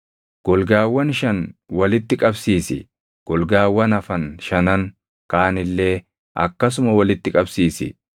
Golgaawwan shan walitti qabsiisi; golgaawwan hafan shanan kaan illee akkasuma walitti qabsiisi.